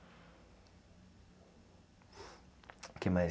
O que mais?